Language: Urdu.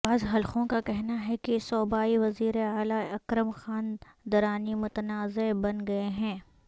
بعض حلقوں کا کہنا ہے کہ صوبائی وزیراعلی اکرم خان درانی متنازعہ بن گئے ہیں